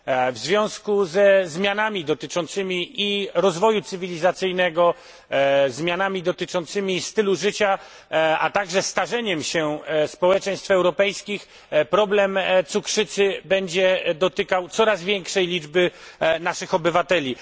W związku ze zmianami dotyczącymi rozwoju cywilizacyjnego, zmianami dotyczącymi zmiany stylu życia, a także starzeniem się społeczeństw europejskich, problem cukrzycy będzie dotykał coraz większej liczby naszych obywateli.